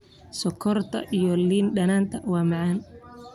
Sonkorta iyo liin dhanaanta waa macaan.